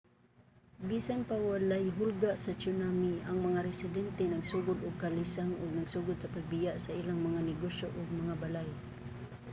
bisan pa walay hulga sa tsunami ang mga residente nagsugod og kalisang ug nagsugod sa pagbiya sa ilang mga negosyo ug mga balay